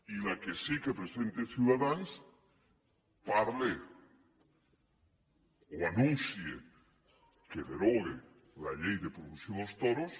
i la que sí que presenta ciutadans parla o anuncia que deroga la llei de prohibició dels toros